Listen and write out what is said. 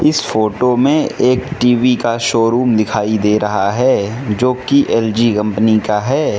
इस फोटो में एक टी_वी का शोरूम दिखाई दे रहा है जो की एल_जी कंपनी का है।